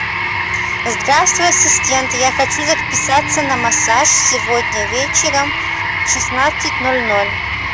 здравствуй ассистент я хочу записаться на массаж сегодня вечером в шестнадцать ноль ноль